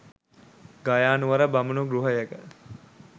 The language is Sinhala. ගයානුවර බමුණු ගෘහයක